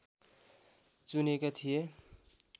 चुनेका थिए